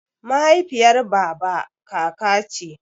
Mahaifiyar baba kaka ce.